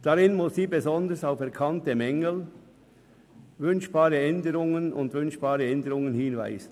Darin muss sie besonders auf erkannte Mängel und wünschbare Änderungen hinweisen.